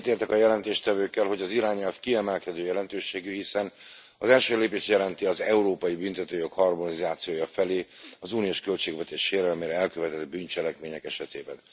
Egyetértek a jelentéstevőkkel, hogy az irányelv kiemelkedő jelentőségű, hiszen az első lépést jelenti az európai büntetőjog harmonizációja felé az uniós költségvetés sérelmére elkövetett bűncselekmények esetében.